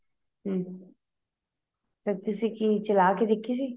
ਹਮ ਫ਼ੇਰ ਤੁਸੀਂ ਕੀ ਚਲਾਹ ਕੇ ਦੇਖੀ ਸੀ